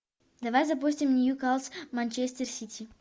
давай запустим ньюкасл манчестер сити